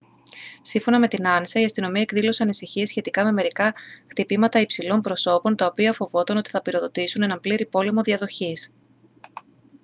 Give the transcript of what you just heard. σύμφωνα με την ansa «η αστυνομία εκδήλωσε ανησυχίες σχετικά με μερικά χτυπήματα υψηλών προσώπων τα οποία φοβόταν ότι θα πυροδοτήσουν έναν πλήρη πόλεμο διαδοχής